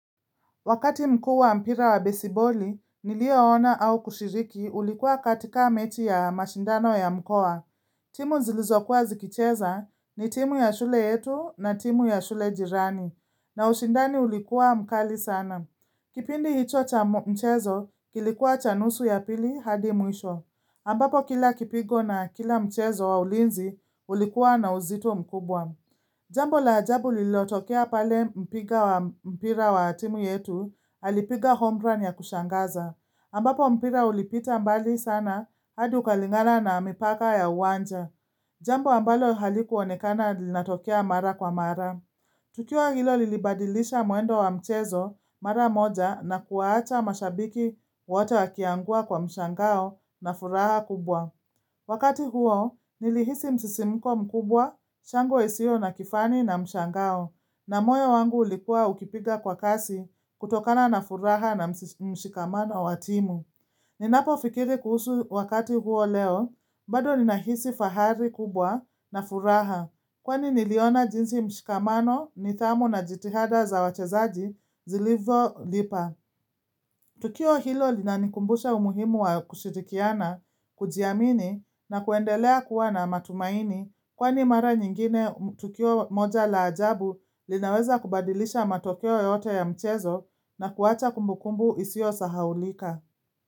Wakati mkuu wa mpira wa besiboli, niliyoona au kushiriki ulikuwa katika mechi ya mashindano ya mkoa. Timu zilizokuwa zikicheza ni timu ya shule yetu na timu ya shule jirani. Na ushindani ulikuwa mkali sana. Kipindi hicho cha mchezo, kilikuwa cha nusu ya pili hadi mwisho. Ambapo kila kipigo na kila mchezo wa ulinzi ulikuwa na uzito mkubwa. Jambo la ajabu lililotokea pale mpiga wa mpira wa timu yetu, alipiga home run ya kushangaza. Ambapo mpira ulipita mbali sana, hadi ukalingana na mipaka ya uwanja. Jambo ambalo halikuonekana linatokea mara kwa mara. Tukio hilo lilibadilisha mwendo wa mchezo, mara moja, na kuwaacha mashabiki wote wakiangua kwa mshangao na furaha kubwa. Wakati huo, nilihisi msisimiko mkubwa, shangwe isiyo na kifani na mshangao, na moyo wangu ulikua ukipiga kwa kasi kutokana na furaha na mshikamano wa timu. Ninapofikiri kuhusu wakati huo leo, bado ninahisi fahari kubwa na furaha, kwani niliona jinsi mshikamano nidhamu na jitihada za wachezaji zilivyolipa. Tukio hilo linanikumbusha umuhimu wa kushirikiana, kujiamini na kuendelea kuwa na matumaini kwani mara nyingine tukio moja la ajabu linaweza kubadilisha matokeo yote ya mchezo na kuwacha kumbukumbu isiyosahaulika.